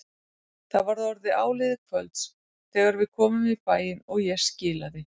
Það var orðið áliðið kvölds þegar við komum í bæinn og ég skilaði